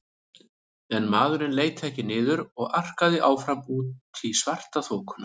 En maðurinn leit ekki niður og arkaði áfram út í svartaþokuna.